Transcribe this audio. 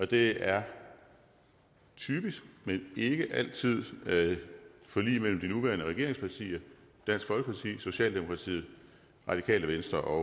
det er typisk men ikke altid forlig mellem de nuværende regeringspartier dansk folkeparti socialdemokratiet radikale venstre og